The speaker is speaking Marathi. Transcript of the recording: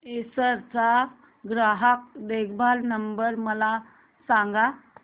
एसर चा ग्राहक देखभाल नंबर मला सांगा